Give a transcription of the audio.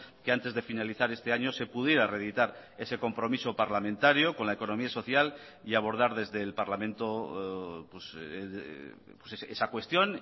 que antes de finalizar este año se pudiera reeditar ese compromiso parlamentario con la economía social y abordar desde el parlamento esa cuestión